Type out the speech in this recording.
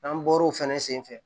N'an bɔr'o fɛnɛ senfɛ